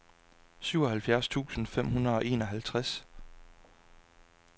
syvoghalvfjerds tusind fem hundrede og enoghalvtreds